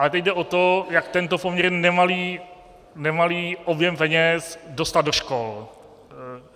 Ale teď jde o to, jak tento poměrně nemalý objem peněz dostat do škol.